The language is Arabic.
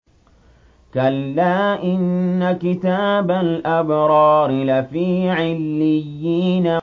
كَلَّا إِنَّ كِتَابَ الْأَبْرَارِ لَفِي عِلِّيِّينَ